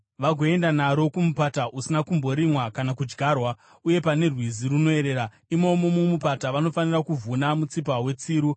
vagoenda naro kumupata usina kumborimwa kana kudyarwa uye pane rwizi runoerera. Imomo mumupata vanofanira kuvhuna mutsipa wetsiru.